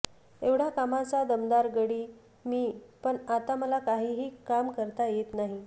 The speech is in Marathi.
एवढा कामाचा दमदार गडी मी पण आता मला काहीही काम करता येत नाही